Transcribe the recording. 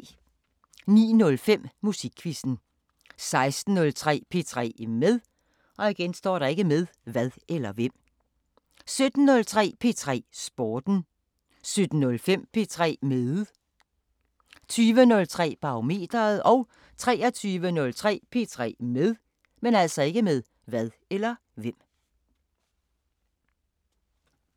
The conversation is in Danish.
09:05: Musikquizzen 16:03: P3 med 17:03: P3 Sporten 17:05: P3 med 20:03: Barometeret 23:03: P3 med